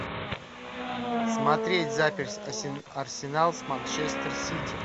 смотреть запись арсенал с манчестер сити